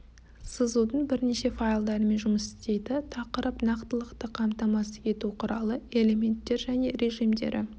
сызудың бірнеше файлдарымен жұмыс істейді тақырып нақтылықты қамтамасыз ету құралы элементтер және режимдері